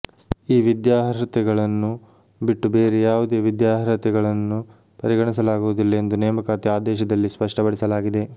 ಈ ವಿದ್ಯಾರ್ಹತೆಗಳನ್ನು ಬಿಟ್ಟು ಬೇರೆ ಯಾವುದೇ ವಿದ್ಯಾರ್ಹತೆಗಳನ್ನು ಪರಿಗಣಿಸಲಾಗುವುದಿಲ್ಲ ಎಂದು ನೇಮಕಾತಿ ಆದೇಶದಲ್ಲಿ ಸ್ಪಷ್ಟಪಡಿಸಲಾಗಿದೆ